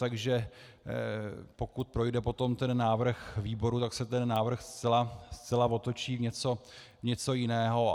Takže pokud projde potom ten návrh výboru, tak se ten návrh zcela otočí v něco jiného.